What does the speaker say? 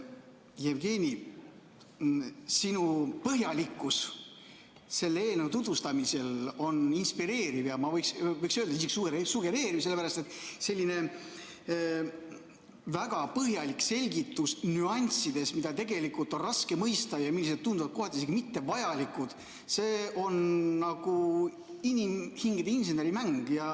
Jevgeni, sinu põhjalikkus selle eelnõu tutvustamisel on inspireeriv ja võiks öelda, isegi sugereeriv, sellepärast et selline väga põhjalik selgitus nüanssides, mida tegelikult on raske mõista ja mis tunduvad kohati isegi mittevajalikud, see on nagu inimhingede inseneri mäng.